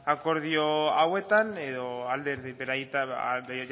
akordio hauetan edo alderdi edo